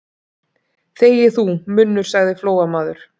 Þegi þú, munnur, sagði Flóamaður.